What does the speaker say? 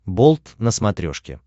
болт на смотрешке